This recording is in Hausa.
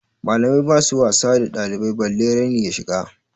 Malamai basu wasa da ɗalibai balle raini ya shiga.